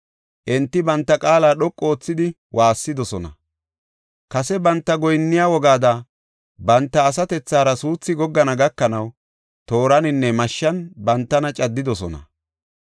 Enti banta qaala dhoqu oothidi woossidosona. Kase banta goyinniya wogaada banta asatethara suuthi goggana gakanaw tooraninne mashshan bantana caddidosona.